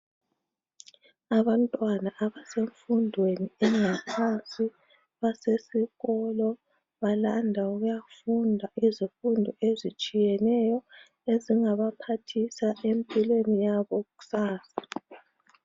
Abantwana abasemfundweni yangaphansi basesikolo balanda ukuyafunda izifundo ezitshiyeneyo ezingabaphathisa empilweni yabo kusasa.